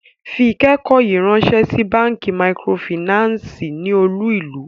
Fún ikẹkọ̀ yíì ránsẹ̀ sí bankí màkrófínànsí ní olú-ìlú!